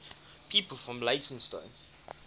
people from leytonstone